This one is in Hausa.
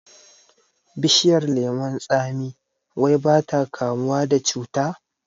Bishiyar lemon tsami wai bata kamuwa da cuta